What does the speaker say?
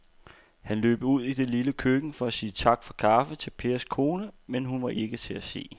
Han løb ud i det lille køkken for at sige tak for kaffe til Pers kone, men hun var ikke til at se.